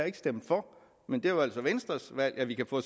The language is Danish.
ikke stemt for men det var altså venstres valg at vi kan få